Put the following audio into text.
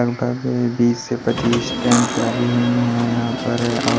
लगभग बीस से पच्चीस टेंट लगे हुए हैं यहां पर और--